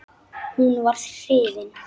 Hún var hrifin.